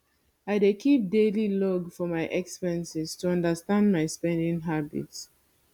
i dey keep daily log of my expenses to understand my spending habits